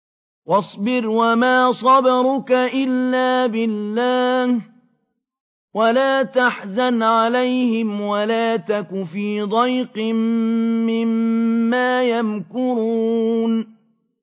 وَاصْبِرْ وَمَا صَبْرُكَ إِلَّا بِاللَّهِ ۚ وَلَا تَحْزَنْ عَلَيْهِمْ وَلَا تَكُ فِي ضَيْقٍ مِّمَّا يَمْكُرُونَ